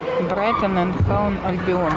брайтон энд хоув альбион